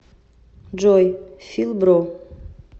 джой фил бро